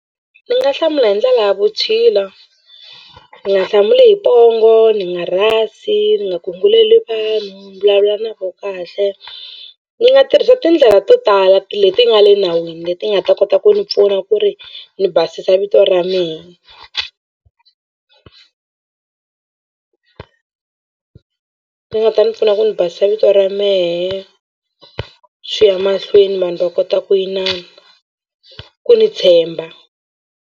Ni nga hlamula hi ndlela ya vutshila ni nga hlamuli hi pongo ni nga rhasi ni nga gunguleni mi va mi vulavula na vo kahle ni nga tirhisa tindlela to tala leti nga le nawini leti nga ta kota ku ni pfuna ku ri ni basisa vito ra mehe ti nga ta ni pfuna ku ni basisa vito ra mehe swi ya mahlweni vanhu va kota ku yinana ku ni tshemba.